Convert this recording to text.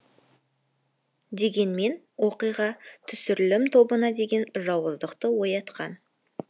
дегенмен оқиға түсірілім тобына деген жауыздықты оятқан